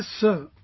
Yes sir